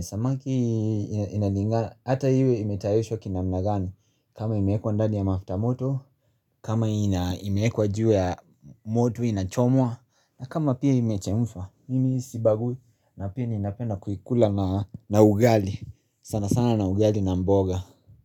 samaki ina inalinga, ata iwe imetayashwa kinamna gani, kama imeekwa ndani ya mafuta moto, kama ina imeekwa juu ya moto inachomwa, na kama pia imechemshwa, mimi sibag, na pia ninapenda kuikula na ugali, sana sana na ugali na mboga.